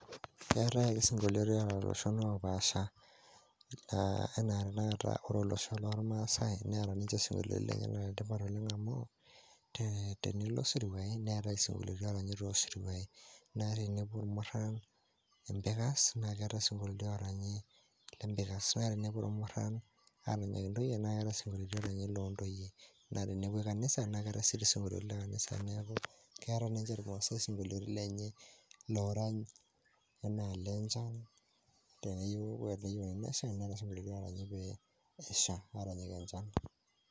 Keetai ake sing'olioti oota iloshon opaasha ena ore tenakata ore olosho lormaasai, neeta ninje ising'olioti lenyenak entipat amu tenilo siruai neetai isiong'olioti oranyi tosiruai. Ore naa tenepuo irmurran empikas, neetai isingolioti oranyi te mpikas, naa tenepuo irmurran aranyaki ntoyie neetai ising'olioti lo ntoyie, naa tenepuoi kanisa, naake keetai sii ising'olioti le kanisa. Neeku keeta naa nje irmaasai ising'olioti lenye lorany enaa le nchan ore peeyeuni nesha neetai ising'olioti laranyi pee esha aranyaki enchan.